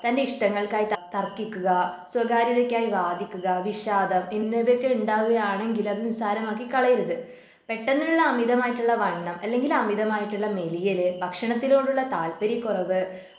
തൻ്റെ ഇഷ്ടങ്ങൾക്കായി തർക്കിക്കുക സ്വകാര്യതയുമായി വാദിക്കുക വിഷാദം എന്നിവയൊക്കെ ഉണ്ടാവുകയാണെങ്കിൽ അത് നിസാരമാക്കി കളയരുത് പെട്ടെന്നുള്ള അമിതമായിട്ടുള്ള വണ്ണം അല്ലെങ്കില് അമിതമായിട്ടുള്ള മെലിയല് ഭക്ഷണത്തിനോടുള്ള താൽപര്യക്കുറവ്